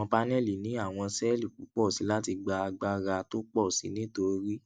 àwọn paneli ní àwọn séèlì púpò sí i láti gba agbára tó pọ sí i nítorí